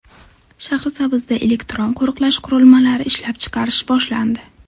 Shahrisabzda elektron qo‘riqlash qurilmalari ishlab chiqarish boshlandi.